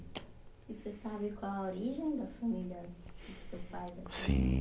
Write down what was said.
E você sabe qual a origem da família do seu pai, da sua mãe? Sim